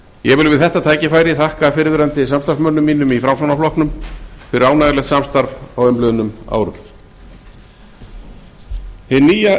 ég vil við þetta tækifæri þakka fyrrverandi samstarfsmönnum mínum í framsóknarflokknum fyrir ánægjulegt samstarf á umliðnum árum hin nýja